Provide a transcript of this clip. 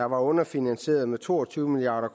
var underfinansieret med mellem to og tyve milliard og